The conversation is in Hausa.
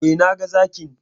E, naga Zakin.